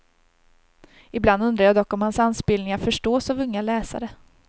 Ibland undrar jag dock om hans anspelningar förstås av unga läsare.